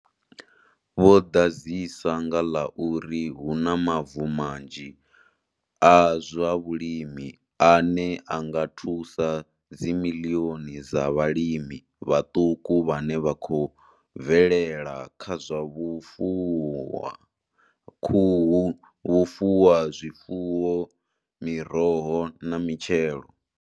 Vho ḓadzisa nga ḽa uri hu na mavu manzhi a zwa vhulimi ane a nga thusa dzimiḽioni dza vhalimi vhaṱuku vhane vha khou bvelela kha zwa vhufuwa khuhu, vhufuwazwifuwo, miroho na mitshelo.